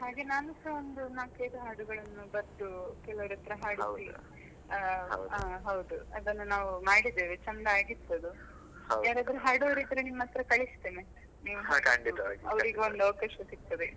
ಹಾಗೆ ನಾನು ಸಹ ಒಂದು ನಾಲ್ಕು ಐದು ಹಾಡುಗಳನ್ನು ಬರ್ದು ಕೆಲವರತ್ರ ಹಾಡಿಸಿ ಆ ಹೌದು. ಅದನ್ನು ನಾವು ಮಾಡಿದ್ದೇವೆ ಚಂದ ಆಗಿತ್ತು ಅದು overap ಯಾರಾದ್ರೂ ಹಾಡುವವರಿದ್ರೆ ನಿಮ್ಮತ್ರ ಕಳಿಸ್ಥೆನೆ ಅವರಿಗೂ ಒಂದು ಅವಕಾಶ ಸಿಗ್ತದೆ.